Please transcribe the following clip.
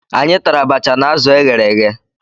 Anyị tara abacha na azụ e ghere eghe.